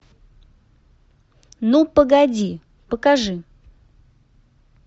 ну погоди покажи